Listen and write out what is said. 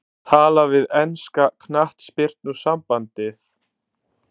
Tala við enska knattspyrnusambandið?